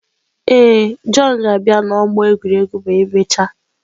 Ee, Jọn ga-abịa n'ọgbọ egwuregwu ma emechaa.